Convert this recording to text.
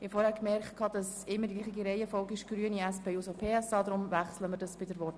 Ich habe vorhin gemerkt, dass die Reihenfolge immer gleich ist, also zuerst Grüne und dann SP-JUSO-PSA-Fraktion.